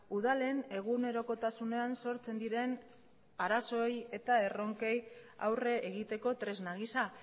udalen egunerokotasunean sortzen diren arazoei eta erronkei aurre egiteko tresna gisa